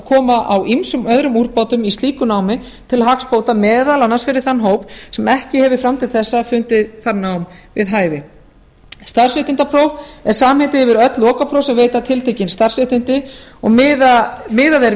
koma á ýmsum öðrum úrbótum í slíku námi til hagsbóta meðal annars fyrir þann hóp sem ekki hefur samkvæmt þessu fundið það nám við hæfi starfréttindapróf er samheiti yfir öll lokapróf sem veita tiltekin starfsréttindi og miðað er